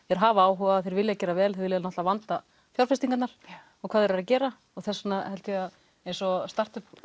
þeir hafa áhuga þeir vilja gera vel þeir vilja náttúrulega vanda fjárfestingarnar og hvað þeir eru að gera og þess vegna held ég að eins og startup